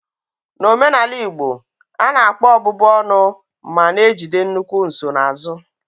N'omenala Igbo, a na-akpọ ọbụbụ ọnụ ma na-ejide nnukwu nsonaazụ.